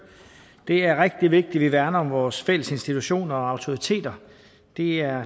det er rigtig vigtigt at vi værner om vores fælles institutioner og autoriteter de er